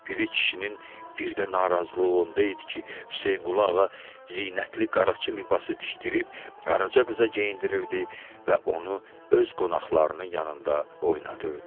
Piri kişinin bir də narazılığı onda idi ki, Hüseynquluğa zinətli qaraçı libası tikdirib Qaraça qıza geyindirirdi və onu öz qonaqlarının yanında oynadırdı.